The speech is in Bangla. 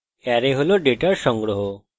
অ্যারে হল ডেটার সংগ্রহ